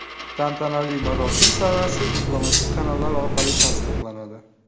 Tantanali marosim sanasi diplomatik kanallar orqali tasdiqlanadi.